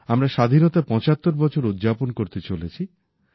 আমরা স্বাধীনতার ৭৫ বছর উদযাপন করতে চলেছি